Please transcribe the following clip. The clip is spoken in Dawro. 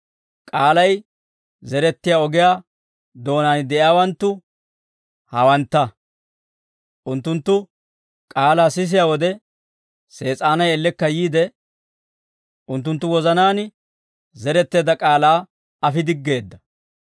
K'aalay zerettiyaa ogiyaa doonaan de'iyaawanttu hawantta; unttunttu k'aalaa sisiyaa wode, Sees'aanay ellekka yiide, unttunttu wozanaan zeretteedda k'aalaa afi diggeedda.